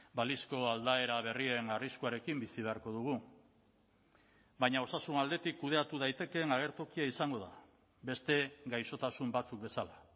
balizko aldaera berrien arriskuarekin bizi beharko dugu baina osasun aldetik kudeatu daitekeen agertokia izango da beste gaixotasun batzuk bezala